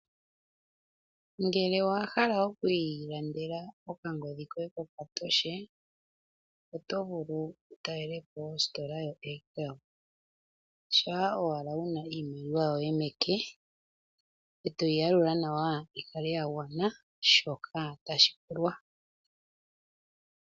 Ngele owahala oku ilandela okangodhi koye kokatoshe oto vulu wutalele po ositola yoAirtel, sha owala wuna iimaliwa yoye meke, e toyi yalula nawa yikale yagwana shoka tashipulwa.